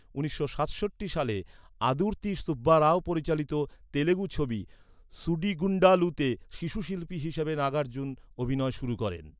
উনিশশো সাতষট্টি সালে আদুর্তি সুব্বা রাও পরিচালিত তেউগু ছবি সুডিগুন্ডালুতে শিশু শিল্পী হিসেবে নাগার্জুন অভিনয় শুরু করেন।